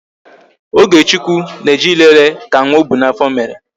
Ogechukwu na-eje ịlele ka nwa ọ bu n'afọ mere